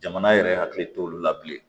Jamana yɛrɛ hakili t'olu la bilen